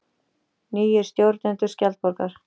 Nýir stjórnendur Skjaldborgar